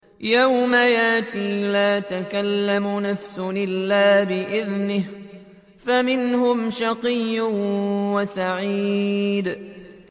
يَوْمَ يَأْتِ لَا تَكَلَّمُ نَفْسٌ إِلَّا بِإِذْنِهِ ۚ فَمِنْهُمْ شَقِيٌّ وَسَعِيدٌ